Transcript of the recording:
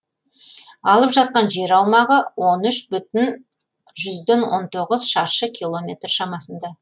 алып жатқан жер аумағы он үш бүтін жүзден он тоғыз шаршы километр шамасында